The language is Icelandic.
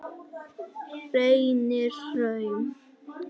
Reynihrauni